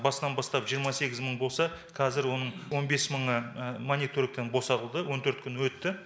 басынан бастап жиырма сегіз мың болса қазір оның он бес мыңы мониторингтан босатылды он төрт күн өтті